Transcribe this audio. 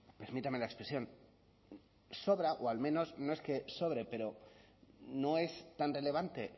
permítame la expresión sobra o al menos no es que sobre pero no es tan relevante